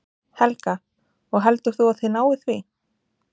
Helga: Og heldur þú að þið náið því?